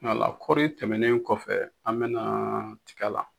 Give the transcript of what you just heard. kɔri tɛmɛnen kɔfɛ an bɛna tiga la.